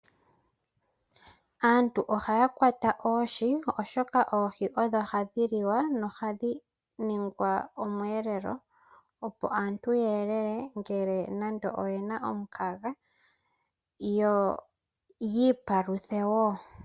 Aantu ohaya kwata oohi oshoka oohi odho hadhi liwa nohadhi ningwa omweelelo, opo aantu ya elele ngele nando oyena omukaga. Yo ya ipaluthe wo.